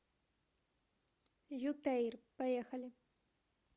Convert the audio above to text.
ютэйр поехали